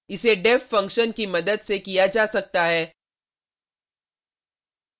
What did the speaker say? इसे deff function की मदद से किया जा सकता है